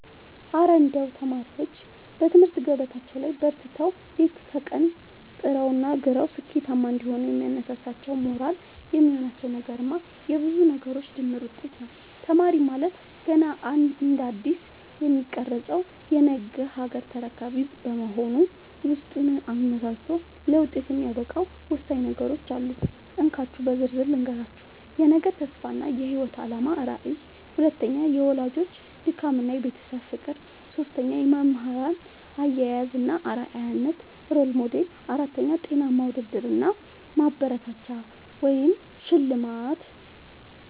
እረ እንደው ተማሪዎች በትምህርት ገበታቸው ላይ በርትተው፣ ሌት ከቀን ጥረውና ግረው ስኬታማ እንዲሆኑ የሚያነሳሳቸውና ሞራል የሚሆናቸው ነገርማ የብዙ ነገሮች ድምር ውጤት ነው! ተማሪ ማለት ገና እንደ አዲስ የሚቀረጽ የነገ ሀገር ተረካቢ በመሆኑ፣ ውስጡን አነሳስቶ ለውጤት የሚያበቃው ወሳኝ ነገሮች አሉ፤ እንካችሁ በዝርዝር ልንገራችሁ - 1. የነገ ተስፋ እና የህይወት አላማ (ራዕይ) 2. የወላጆች ድካምና የቤተሰብ ፍቅር 3. የመምህራን አያያዝ እና አርአያነት (Role Model) 4. ጤናማ ውድድር እና ማበረታቻ (ሽልማት)